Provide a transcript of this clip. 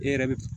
E yɛrɛ bi